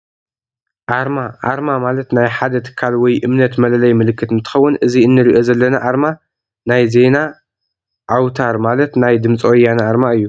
ኣርማ ኣርማ ማለት ናይ ሓደ ትካል ወይ እምነት መለለይ ምልክት እትከውን እዚ እንረኦ ዘለና ኣርማ ናይ ዜና አውትር ማለት ናይ ድምፂ ወያነ ኣርማ እዩ።